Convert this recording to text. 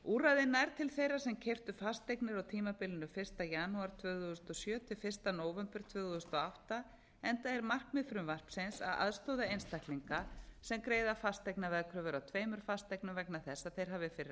úrræðið nær til þeirra sem keyptu fasteignir á tímabilinu fyrsta janúar tvö þúsund og sjö til fyrsta nóvember tvö þúsund og átta enda er markmið frumvarpsins að aðstoða einstaklinga sem greiða fasteignaveðkröfur af tveimur fasteignum vegna þess að þeir hafi fyrir